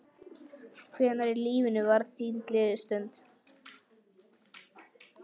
Hvenær í lífinu var þín gleðistund?